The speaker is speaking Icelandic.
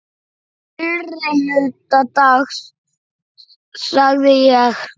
Fyrri hluta dags sagði ég.